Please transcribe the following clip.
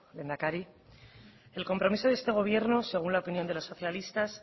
lehendakari el compromiso de este gobierno según la opinión de los socialistas